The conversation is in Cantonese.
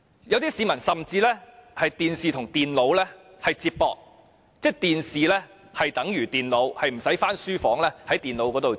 有些市民甚至把電視機與電腦連接起來，即是電視可以取代電腦，他們不一定要回書房用電腦工作。